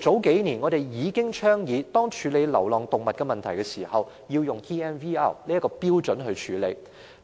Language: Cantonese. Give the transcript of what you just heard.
數年前，我們已倡議在處理流浪動物問題時，應以 TNVR 的標準處理，